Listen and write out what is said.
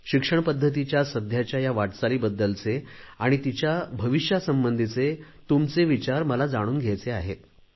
शिक्षणपद्धतीच्या सध्याच्या या वाटचालीबद्दलचे आणि तिच्या भविष्यासंबंधीचे तुमचे विचार मला जाणून घ्यायचे आहेत